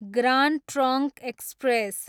grand trunk express